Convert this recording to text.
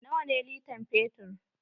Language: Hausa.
Nawa ne litan fetur?